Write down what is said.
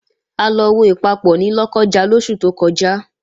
A lọ wo Ìpapọ̀ ní Lọ́kọ́ja lóṣù tó kọjá